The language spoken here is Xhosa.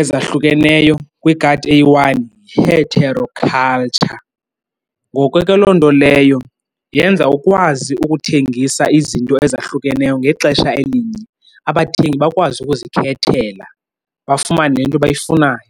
ezahlukeneyo kwigadi eyi-one yi-heteroculture. Ngoko ke loo nto leyo yenza ukwazi ukuthengisa izinto ezahlukeneyo ngexesha elinye, abathengi bakwazi ukuzikhethela bafumane le nto bayifunayo.